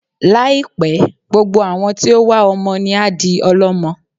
Láì pẹ́, gbogbo àwọn tí ó wá ọmọ ni á di ọl'ọ́mọ